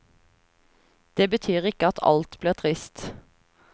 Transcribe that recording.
Det betyr ikke at alt blir trist.